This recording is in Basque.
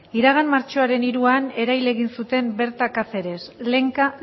iragan martxoaren hiruan erail egin zuten berta caceres lenka